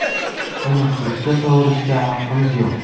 Uni ko‘kka sovurishga haqqimiz yo‘q.